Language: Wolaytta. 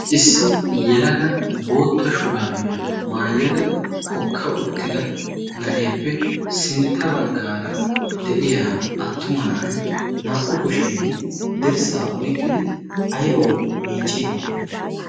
issi yelaga bootta shuraabiyaa maayyada hokka uttida na'eeppe sintta baggaara de'iya attuma na'ay naa''u kushiyan dirssaa oyqqidi aybawu miicciidi de'ii